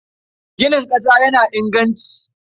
Ginin ƙasa yana inganci.